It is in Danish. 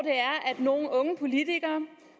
nogle unge politikere